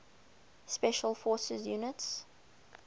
special forces units